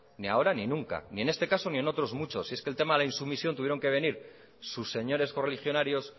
ni ahora ni nunca ni en este caso ni en otros muchos si es que el tema de la insumisión tuvieron que venir sus señores correligionarios